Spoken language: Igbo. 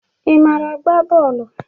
Ị mara agba bọọlụ?